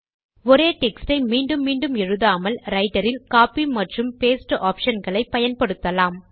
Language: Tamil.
ஒரே டெக்ஸ்ட் ஐ மீண்டும் மீண்டும் எழுதாமல் ரைட்டர் இல் கோப்பி மற்றும் பாஸ்டே ஆப்ஷன் களை பயன்படுத்தலாம்